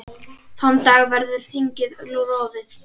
Þann dag verður þingið rofið.